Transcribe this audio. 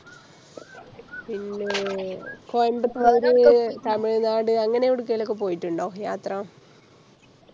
പിന്നെ കോയമ്പത്തൂർ തമിഴ്നാട് അങ്ങനെ എവിടക്കേലോക്കെ പോയിട്ടുണ്ടോ യാത്ര